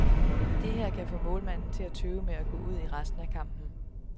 Det her kan få målmanden til at tøve med at gå ud i resten af kampen.